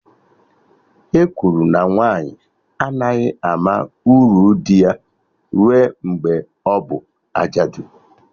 E kwuru na nwaanyị anaghị ama uru dị ya rue mgbe ọbụ ajadu